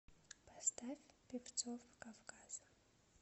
поставь певцов кавказа